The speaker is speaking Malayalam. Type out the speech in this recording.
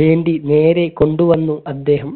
വേണ്ടി നേരെ കൊണ്ടുവന്നു അദ്ദേഹം